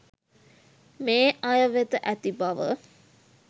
මේ අය වෙත ඇති බව